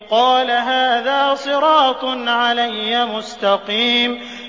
قَالَ هَٰذَا صِرَاطٌ عَلَيَّ مُسْتَقِيمٌ